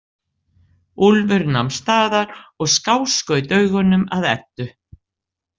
Úlfur nam staðar og skáskaut augunum að Eddu.